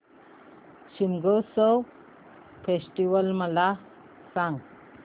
Shigmotsav festival मला सांग